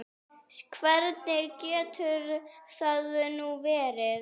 Hvernig getur það nú verið?